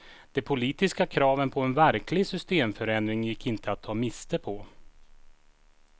De politiska kraven på en verklig systemförändring gick inte att ta miste på.